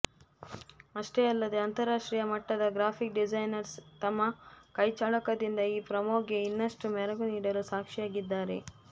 ಅಷ್ಟೆ ಅಲ್ಲದೆ ಅಂತರಾಷ್ಟ್ರೀಯ ಮಟ್ಟದ ಗ್ರಾಫಿಕ್ ಡಿಸೈನರ್ಸ್ ತಮ್ಮ ಕೈಚಳಕದಿಂದ ಈ ಪ್ರೋಮೋಗೆ ಇನ್ನಷ್ಟು ಮೆರಗು ನೀಡಲು ಸಾಕ್ಷಿಯಾಗಿದ್ದಾರೆ